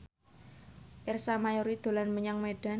Ersa Mayori dolan menyang Medan